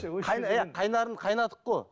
қайнарын қайнадық қой